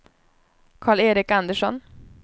Karl-Erik Andersson